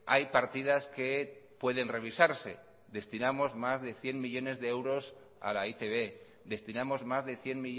hay partidas que pueden revisarse destinamos más de cien millónes de euros a la e i te be destinamos más de cien